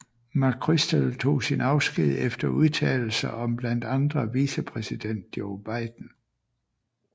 McChrystal tog sin afsked efter udtalelser om blandt andre vicepræsident Joe Biden